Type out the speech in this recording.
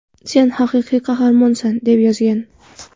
Sen haqiqiy qahramonsan!” – deb yozgan.